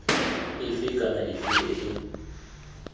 efe kana efe e e